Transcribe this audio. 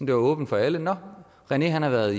det var åbent for alle nå rené har været